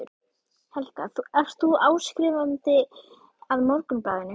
Helga: Ert þú áskrifandi að Morgunblaðinu?